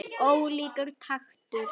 Ólíkur taktur.